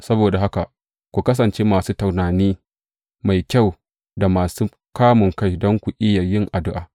Saboda haka ku kasance masu tunani mai kyau da masu kamunkai don ku iya yin addu’a.